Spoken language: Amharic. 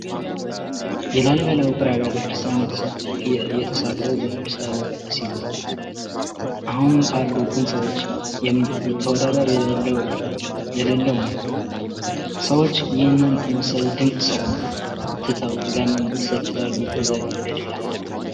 የላሊበላ ዉቅር አብያተ ክርስቲያን የተሰራዉ በቅዱስ ላሊበላ ሲሆን አሁን ካሉ ህንፃዎች ተወዳዳሪ የሌለዉ ነዉ። ሰዎች ይህንን የመሰለ ድንቅ ስራ ትተዉ ለምን ይሰደዳሉ ይጓዛሁ ወደ ሌላ ሀገር?